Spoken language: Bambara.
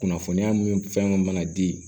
Kunnafoniya mun fɛn mana di